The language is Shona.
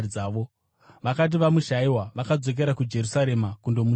Vakati vamushayiwa, vakadzokera kuJerusarema kundomutsvaka.